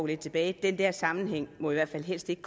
lidt tilbage at den der sammenhæng i hvert fald helst ikke